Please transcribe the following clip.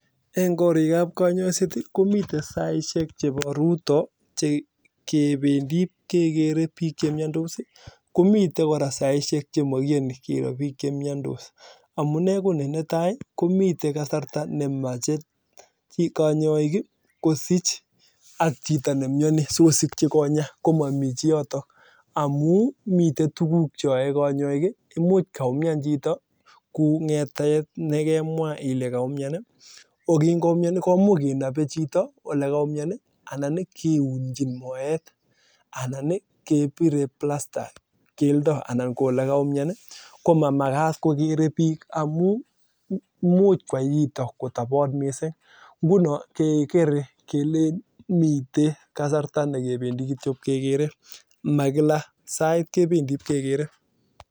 Mitei kasarta nemeche konyoik ii kosich ak chito nemnyonii sikosikchi konyaa amuu mitei tuguk cheae konyoik kou ng'etet noo kaumnyani komuch kenabee chito anan kiunjin moet ko mamakat kokeree bik amuu imuch kwai chito kotobot missing ngunoo kekere yotok saishek alak